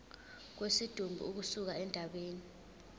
kwesidumbu ukusuka endaweni